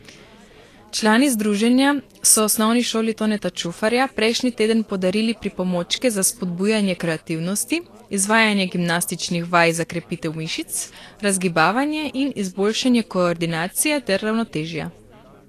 Člani združenja so Osnovni šoli Toneta Čufarja prejšnji teden podarili pripomočke za spodbujanje kreativnosti, izvajanje gimnastičnih vaj za krepitev mišic, razgibavanje in izboljšanje koordinacije ter ravnotežja.